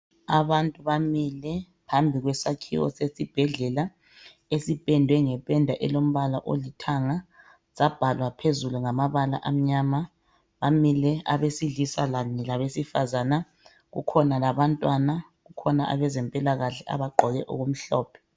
Abantu bamile phambi kwesakhiwo sesibhedlela esipendwe ngependa elombala olithanga sabhalwa phezulu ngamabala amnyama ,bamile abesilisa labesifazana kukhona labantwana kukhona abazempilakahle abagqoke okumhlophe.